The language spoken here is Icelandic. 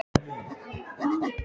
Og án þess að tala við mig!